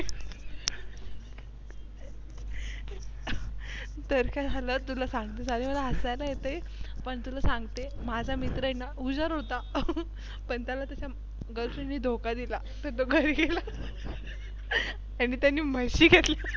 तर काय झाल तुला सांगते. मला हसायला येतंय पण तुला सांगते. माझा मित्र आहे ना हुशार होता पण त्याला त्याच्या Girlfriend नी धोका दिला तर तो घरी गेला आणि त्यानी म्हशी घेतल्या